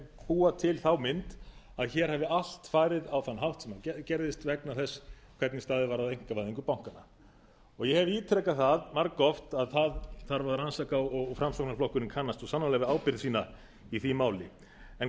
búa til þá mynd að hér hafi allt farið á þann hátt sem það gerðist vegna þess hvernig staðið var að einkavæðingu bankanna ég hef ítrekað það margoft að það þarf að rannsaka og framsóknarflokkurinn kannast svo sannarlega við ábyrgð sína í því máli en